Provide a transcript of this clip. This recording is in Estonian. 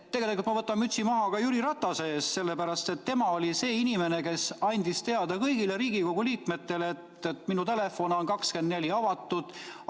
Tegelikult ma võtan mütsi maha ka Jüri Ratase ees, sellepärast et tema oli see inimene, kes andis kõigile Riigikogu liikmetele teada, et tema telefon on 24 tundi avatud.